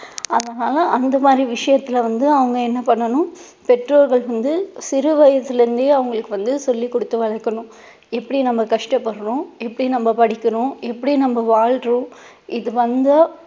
அதனால அந்த மாதிரி விஷயத்துல வந்து அவங்க என்ன பண்ணனும், பெற்றோர்கள் வந்து சிறு வயசுல இருந்தே அவங்களுக்கு வந்து சொல்லி கொடுத்து வளர்க்கணும் எப்படி நம்ம கஷ்டப்படுறோம் எப்படி நம்ம படிக்கிறோம் எப்படி நம்ம வாழுறோம் இது வந்தா